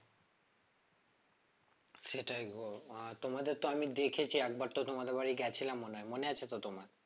সেটাই গো আহ তোমাদের তো আমি দেখেছি একবার তো তোমাদের বাড়ি গেছিলাম মনে হয় মনে আছে তো তোমার?